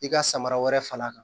I ka samara fal'a kan